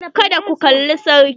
Kada ku kalla sarki.